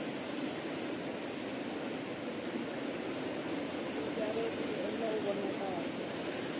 ticaroti ti endla uvona kahle